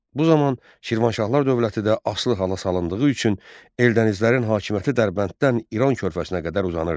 Bu zaman Şirvanşahlar dövləti də asılı hala salındığı üçün Eldənizlərin hakimiyyəti Dərbənddən İran körfəzinə qədər uzandı.